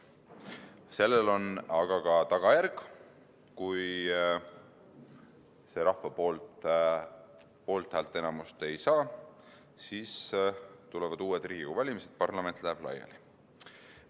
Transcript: Aga sellel on tagajärg: kui eelnõu rahvalt poolthäälte enamust ei saa, siis tulevad uued Riigikogu valimised, parlament läheb laiali.